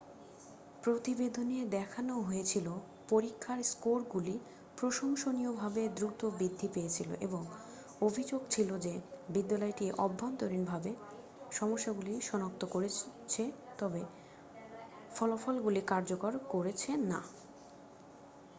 প্রতিবেদনে দেখানো হয়েছিল পরীক্ষার স্কোরগুলি প্রশংসনীয়ভাবে দ্রুত বৃদ্ধি পেয়েছিল এবং অভিযোগ ছিল যে বিদ্যালয়টি অভ্যন্তরীণভাবে সমস্যাগুলি সনাক্ত করেছে তবে ফলাফলগুলি কার্যকর করেছে না